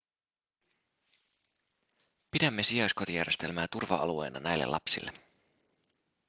pidämme sijaiskotijärjestelmää turva-alueena näille lapsille